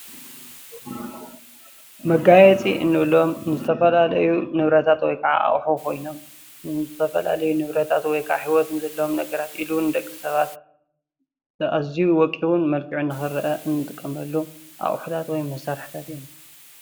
መጋየፂ እንብሎም ንዝተፈላለዩ ንብረታት ወይ ከዓ ኣቕሑ ኮይኖም ንዝተፈላለዩ ንብረታት ወይከዓ ሂወት ዘለዎም ኢሉ ውን ንደቂ ሰባት ኣዝዩ ወቂቡን መልክዑን ንኽረአ እንጥቀመሉ ኣቑሑታት ወይም መሳርሕታት እዮም።